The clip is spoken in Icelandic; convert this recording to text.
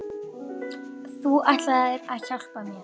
! Þú ætlaðir að hjálpa mér.